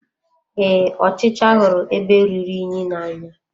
Ee, ọchịcha hụrụ ebe rụrụ unyi n'anya.